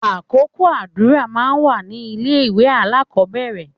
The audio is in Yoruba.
Àkókò àdúrà máa ń wà ní ilé ìwé alákọ̀ọ́bẹ̀rẹ̀